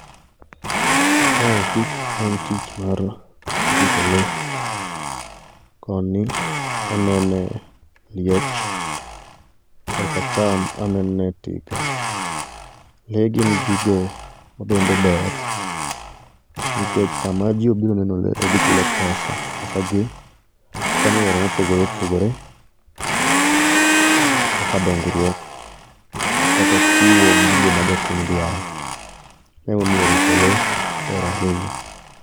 Ma eki en tich mar rito lee. Koni anenee liech korkacham anene tiga. Lee gin gigo ma bende ber nikech sama jii obiro neno lee to gichulo pesa. Peseagi konyo e yore mopogore opogore kaka dongruok kata chiwo gigo ma jopiny dwaro, ma emomiyo rito lee ber ahinya.